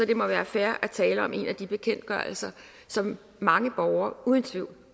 det må være fair at tale om en af de bekendtgørelser som mange borgere uden tvivl